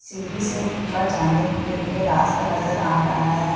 सीढ़ी से ऊपर जाने के रास्ता नजर आ रहा है।